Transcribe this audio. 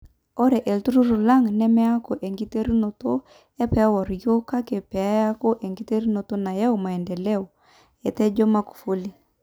Ore ltururi lang nemeyaku enkiterunoto e pewor yiok kake pee eyaku enkiterunoto nayau maendeleo,''etejo Magufuli.